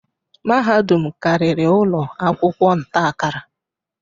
Mahadum karịrị ụlọ akwụkwọ nta-akara.